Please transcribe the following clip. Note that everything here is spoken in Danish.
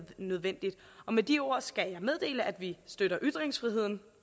nødvendig med de ord skal jeg meddele at vi støtter ytringsfriheden